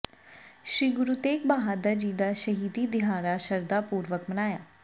ਸ੍ਰੀ ਗੁਰੂ ਤੇਗ਼ ਬਹਾਦਰ ਜੀ ਦਾ ਸ਼ਹੀਦੀ ਦਿਹਾੜਾ ਸ਼ਰਧਾ ਪੂਰਵਕ ਮਨਾਇਆ